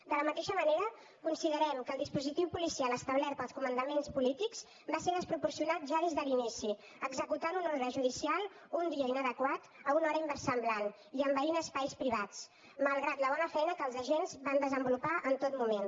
de la mateixa manera considerem que el dispositiu policial establert pels comandaments polítics va ser desproporcionat ja des de l’inici es va executar una ordre judicial un dia inadequat a una hora inversemblant i es van envair espais privats malgrat la bona feina que els agents van desenvolupar en tot moment